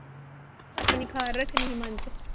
ਆਪਣੀ ਖ਼ਾਰ ਰੱਖਣੀ ਸੀ ਮੰਨ ਚ।